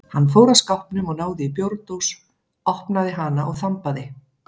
Hann fór að skápnum og náði í bjórdós, opnaði hana og þambaði.